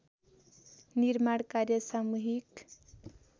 निर्माण कार्य सामुहिक